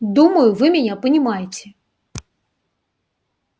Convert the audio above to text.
думаю вы меня понимаете